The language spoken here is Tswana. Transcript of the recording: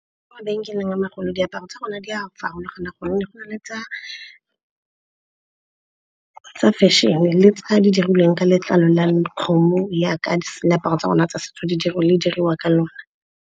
Ko mabenkeleng a ma golo diaparo tsa rona di a farologana gonne go na le tsa fashion-e le tse di dirilweng ka letlalo la kgomo, yaka diaparo tsa rona tsa setso di diriwa ka lona.